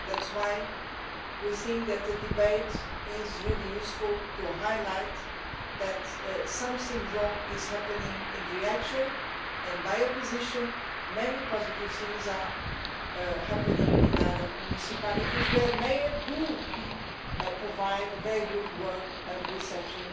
That's why we think that a debate is really useful to highlight that something wrong is happening in Riace, and by opposition, many positive things are happening in other municipalities where mayors do provide the very good work of reception